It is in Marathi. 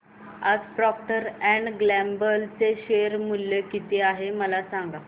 आज प्रॉक्टर अँड गॅम्बल चे शेअर मूल्य किती आहे मला सांगा